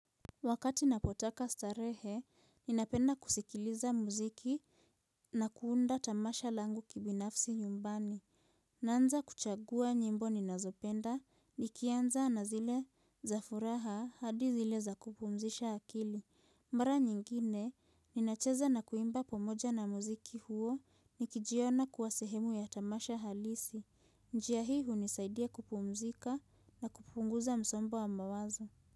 Wakati napotaka starehe ninapenda kusikiliza muziki na kuunda tamasha langu kibinafsi nyumbani. Naanza kuchagua nyimbo ninazopenda nikianza na zile za furaha hadi zile za kupumzisha akili. Mara nyingine ninacheza na kuimba pamoja na muziki huo, nikijiona kuwa sehemu ya tamasha halisi. Njia hii hunisaidia kupumzika na kupunguza msombo wa mawazo.